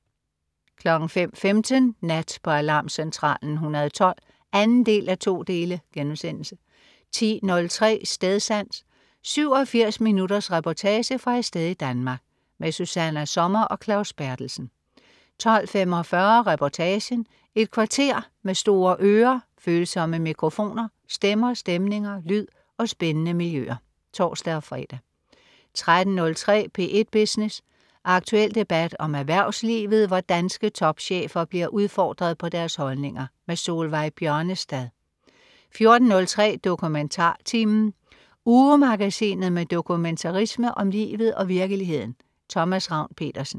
05.15 Nat på Aarmcentralen 112 2:2* 10.03 Stedsans. 87 minutters reportage fra et sted i Danmark. Susanna Sommer og Claus Berthelsen 12.45 Reportagen. Et kvarter med store ører, følsomme mikrofoner, stemmer, stemninger, lyd og spændende miljøer (tors-fre) 13.03 P1 Business. Aktuel debat om erhvervslivet, hvor danske topchefer bliver udfordret på deres holdninger. Solveig Bjørnestad 14.03 DokumentarTimen. Ugemagasinet med dokumentarisme om livet og virkeligheden. Thomas Ravn-Pedersen